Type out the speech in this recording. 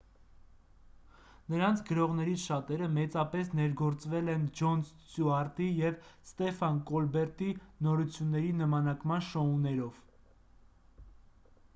նրանց գրողներից շատերը մեծապես ներգործվել են ջոն ստյուարտի և ստեֆան կոլբերտի նորությունների նմանակման շոուներով